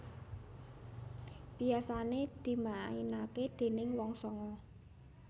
Biasane dimaenake déning wong sanga